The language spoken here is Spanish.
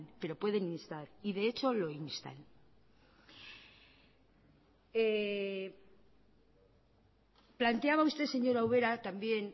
pero pueden instar y de hecho lo instan planteaba usted señora ubera también